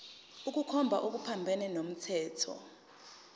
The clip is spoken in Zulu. ukukhomba okuphambene nomthetho